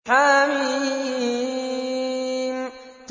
حم